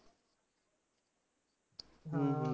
ਹਾਂ